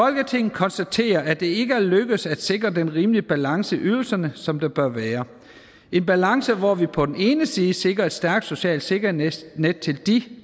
konstaterer at det ikke er lykkedes at sikre den rimelige balance i ydelserne som der bør være en balance hvor vi på den ene side sikrer et stærkt socialt sikkerhedsnet til